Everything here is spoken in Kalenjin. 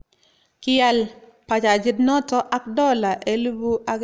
Kial bajajiit noto ak dola 1500 akoboishe dola 11500 kochob